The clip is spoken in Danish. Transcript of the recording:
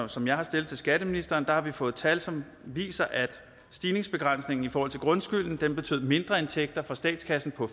som jeg har stillet til skatteministeren har vi fået tal som viser at stigningsbegrænsningen i forhold til grundskylden betød mindreindtægter for statskassen på